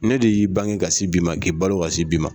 Ne de y'i bange kasi bi ma k'i balo kasi bi ma.